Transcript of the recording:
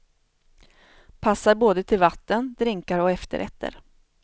Passar både till vatten, drinkar och efterrätter.